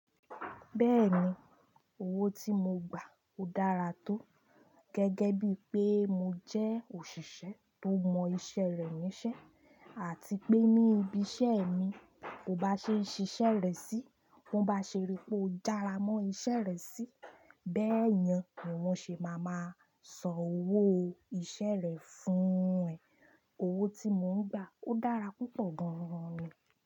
Bẹ́ẹ̀ni, owó tí mo gbà ó dára tó. Gẹ́gẹ́ bí pé mo jẹ́ òṣìṣẹ́ tó mọ iṣẹ́ rẹ̀ níṣẹ́ àti pé ní ibi iṣẹ́ mi, kò bá ṣe ṣiṣẹ́ rẹ̀ sí. Wọ́n bá ṣeri pé ó jára mọ́ iṣẹ́ rẹ̀ sí, bẹ́ẹ̀ni ni wọ́n ṣe máa ma san owó iṣẹ́ rẹ̀ fún ẹ. Owó tí mò ń gbà ó dára púpọ̀ gan-an ni.